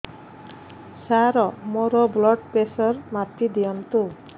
ସାର ମୋର blood pressure ମାପି ଦିଅନ୍ତୁ